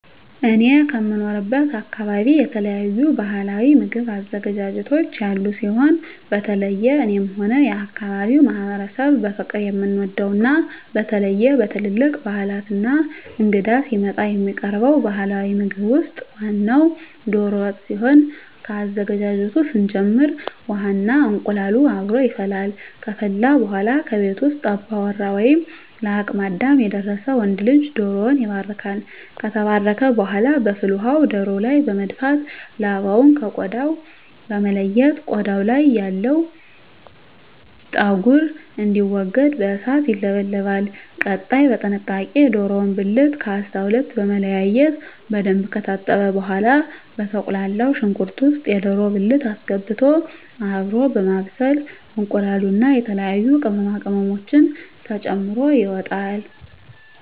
እኔ ከምኖርበት አካበቢ የተለያዩ ባህላዊ ምግብ አዘገጃጀቶች ያሉ ሲሆን በተለየ እኔም ሆነ የአካባቢዉ ማህበረሰብ በፍቅር የምንወደው እና በተለየ በትልልቅ ባህላት እና እንግዳ ሲመጣ የሚቀርበው ባህላዊ ምግብ ውስጥ ዋናው ደሮ ወጥ ሲሆን ከአዘገጃጀቱ ስንጀምር ውሃ እና እንቁላሉ አብሮ ይፈላል ከፈላ በኃላ ከቤት ውስጥ አባወራ ወይም ለአቅመ አዳም የደረሰ ወንድ ልጅ ደሮዉን ይባርካል። ከተባረከ በኃላ በፍል ውሃው ደሮው ላይ በመድፋት ላባውን ከ ቆዳው በመለየት ቆዳው ያለው ፀጉር እንዲወገድ በእሳት ይለበለባል። ቀጣይ በጥንቃቄ የደሮውን ብልት ከ 12 በመለያየት በደንብ ከታጠበ በኃላ በተቁላላው ሽንኩርት ውስጥ የደሮ ብልት አስገብቶ አብሮ በማብሰል እንቁላሉን እና የተለያዩ ቅመማ ቅመሞችን ተጨምሮ ይወጣል።